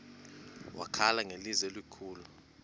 wakhala ngelizwi elikhulu